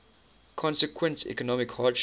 consequent economic hardship